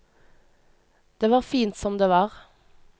Det var fint som det var.